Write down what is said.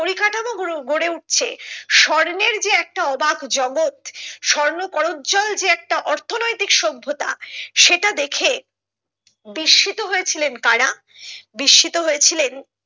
পরিকাঠামো গুলো গড়ে উঠছে স্বর্ণের যে একটা অবাক জগৎ স্বর্ণ করোজ্জ্বল যে একটা অর্থনৈতিক সভ্যতা সেটা দেখে বিস্মিত হয়েছিলেন কারা বিস্মিত হয়েছিলেন।